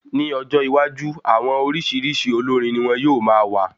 Ní ọjọ́ iwájú, àwọn oríṣiríṣi olórín ní wọn yóò má wà